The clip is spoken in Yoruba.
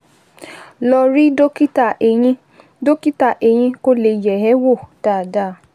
Lọ rí dókítà eyín dókítà eyín kó lè yẹ̀ ẹ́ wò dáadáa